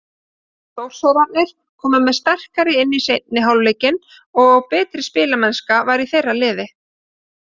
Þórsararnir komu sterkari inn í seinni hálfleikinn og betri spilamennska var í þeirra liði.